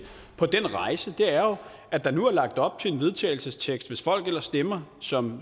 på den rejse er jo at der nu er lagt op til en vedtagelsestekst som hvis folk ellers stemmer som